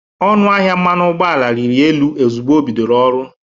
Ọnụ ahịa mmanụ ụgbọ ala riri elu ozụgbọ o bidoro ọrụ.